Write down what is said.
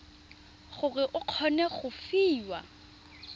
gore o kgone go fiwa